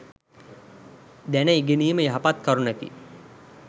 දැන ඉගෙනීම, යහපත් කරුණකි.